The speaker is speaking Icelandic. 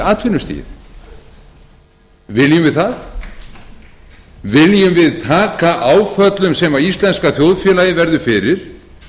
atvinnustigið viljum við það viljum við taka áföllum sem íslenska þjóðfélagið verður fyrir